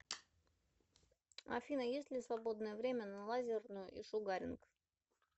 афина есть ли свободное время на лазерную и шугаринг